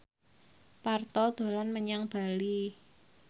Parto dolan menyang Bali